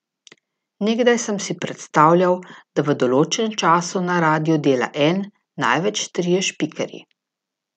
Nekdaj sem si predstavljal, da v določenem času na radiu dela en, največ trije špikerji.